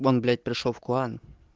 бон блять пришёл в клан